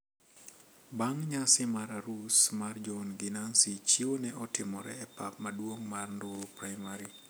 Bang` nyasi mar arus mar John gi Nancy chiwo ne otimore e pap maduong` mar Nduru primary.